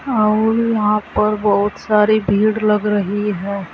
और यहां पर बहुत सारी भीड़ लग रही है।